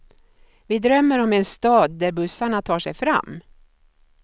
Vi drömmer om en stad där bussarna tar sig fram.